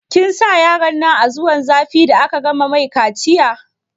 Kin sa yaronnan a zuwan zafi da aka gama mai kaciya?